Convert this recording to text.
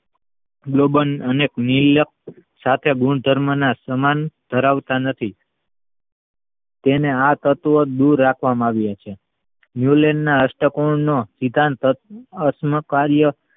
global અને નીર્લપ્ત સાથે ગુણધર્મોના સમાન ધરાવતા નથી તેના આ તત્વ થી દૂર રાખવામાં આવ્યો છે ન્યૂનના અષ્ટકોણનો વિકાન્ત અષમકાર્ય